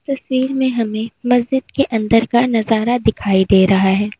तस्वीर में हमें मस्जिद के अंदर का नजारा दिखाई दे रहा है।